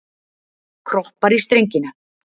Kroppar í strengina.